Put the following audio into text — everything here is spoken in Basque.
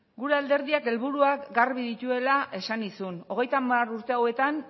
gure alderdiak helburuak garbi dituela esan nizun hogeita hamar urte hauetan